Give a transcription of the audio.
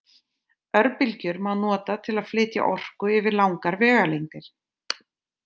Örbylgjur má nota til að flytja orku yfir langar vegalengdir.